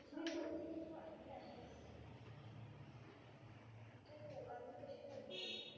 तू सांगत होतीस की तू army आहेस. तू army कशी झाली?